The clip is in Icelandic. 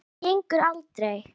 Þetta gengur aldrei.